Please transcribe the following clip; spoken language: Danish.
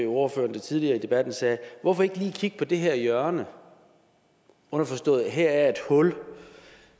ordføreren tidligere i debatten sagde at hvorfor ikke lige kigge på det her hjørne underforstået at her er et hul